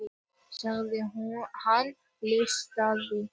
sagði hann hlutlaust.